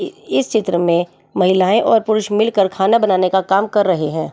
इस चित्र में महिलाएं और पुरुष मिलकर खाना बनाने का काम कर रहे हैं।